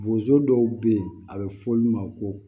Bozo dɔw be yen a be fɔ olu ma ko